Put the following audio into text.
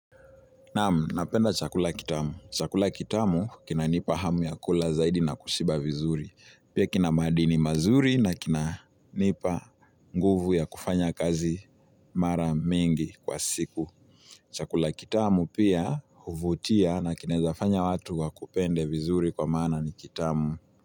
Naamu, napenda chakula kitamu. Chakula kitamu kina nipa hamu ya kula zaidi na kushiba vizuri. Pia kina madini mazuri na kina nipa nguvu ya kufanya kazi mara mingi kwa siku. Chakula kitamu pia huvutia na kinawezafanya watu wa kupende vizuri kwa mana ni kitamu.